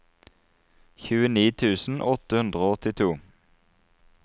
tjueni tusen åtte hundre og åttito